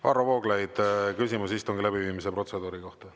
Varro Vooglaid, küsimus istungi läbiviimise protseduuri kohta.